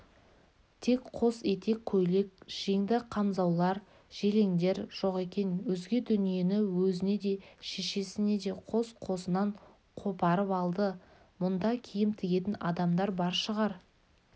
тек қос етек көйлек жеңді қамзаулар желеңдер жоқ екен өзге дүниені өзіне де шешесіне де қос-қосынан қопарып алды мұнда киім тігетін адамдар бар шығар